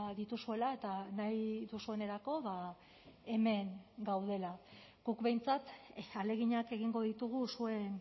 dituzuela eta nahi duzuenerako hemen gaudela guk behintzat ahaleginak egingo ditugu zuen